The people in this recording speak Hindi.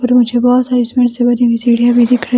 और मुझे बहुत सारी सीमेंट से बनी हुई सीढ़ियां भी दिख रही।